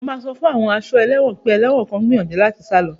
Mo máa sọ fún àwọn aṣọ́ ẹ̀wọ̀n pé ẹlẹ́wọ̀n kan ń gbìyànjú láti sá lọ